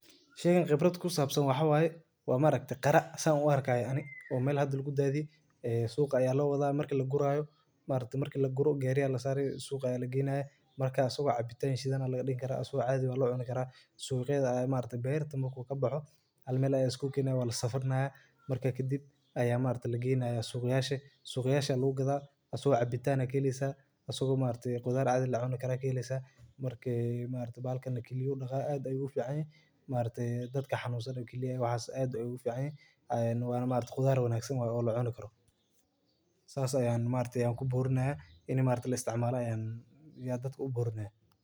Sheegan wax khibrad ah oo ku saabsan waxa waaye waa ma aragta qara saan u arkaya ani oo meel hadal guddaadii ee suuqa ayaa la waaday marka la guraayo maarta marka la guro geeriya la saaray suuqa aya la geenaay markaa soo cabitaan shidan oo la dhignaa asoo aad wa la cuuni karo suuqyada maarta bert marku kabaho halmeelo ay isku keena waa la safarnaa marka ka dib ayaa maarta lagi iibnaa suuqyaasha suuqyasha lagu gadaa asoo cabitaana keliisa asagoo maarta khudaar aad la cuno karaa keliisa markii maarta baalkaana keliyu dhagaa aad ay u fiicnay maartey dadka xanuusan keliya waxaas aad ay u fiicnay aan waana maarta khudaaro wanaaagsan ah oo la cuno karo saas ayaan maarta ku buurna inee maarta la isticmaalayaan iyo dad ku buurna.